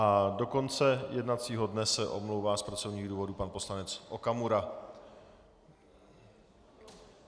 A do konce jednacího dne se omlouvá z pracovních důvodů pan poslanec Okamura.